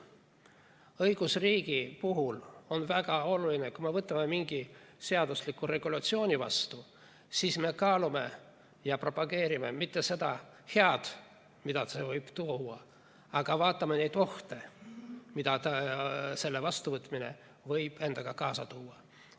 Õigusriigi puhul on väga oluline, et kui me võtame mingi seadusliku regulatsiooni vastu, siis me kaalume ja propageerime mitte seda head, mida see võib tuua, vaid vaatame neid ohte, mida selle vastuvõtmine võib endaga kaasa tuua.